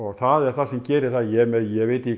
það sem gerir það að ég